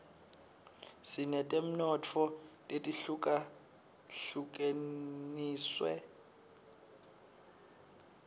sinetemnotfo letihlukahlukenus